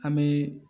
An bɛ